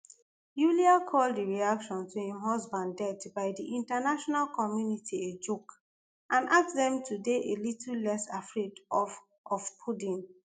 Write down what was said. yulia call di reaction to im husband death by di international community a joke and ask dem to dey a little less afraid of of putin